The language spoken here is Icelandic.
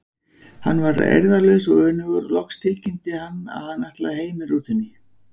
Hann varð eirðarlaus og önugur og loks tilkynnti hann að hann ætlaði heim með rútunni.